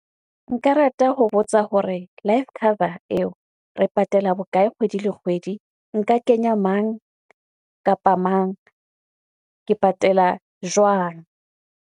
Nka rata ho botsa hore life cover eo re patela bokae kgwedi le kgwedi? Nka kenya mang, kapa mang? Ke patela jwang?